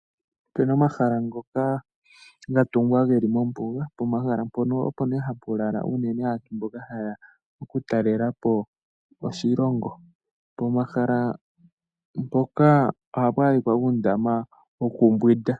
Opena omahala ngoka ga tungwa geli mombuga pomahala mpoka opo nee hapu lala aantu mboka hayeya okutalela po oshilongo pomahala mpoka ohapu adhika adhika uundama wokumbwinda.